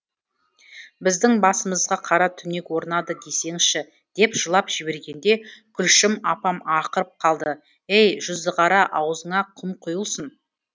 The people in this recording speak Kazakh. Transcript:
біздің басымызға қара түнек орнады десеңізші деп жылап жібергенде күлшім апам ақырып қалды әй жүзіқара аузыңа құм құйылсын